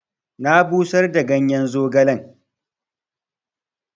Na busar da ganyen zogalen.